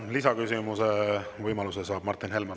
Lisaküsimuse võimaluse saab Martin Helme.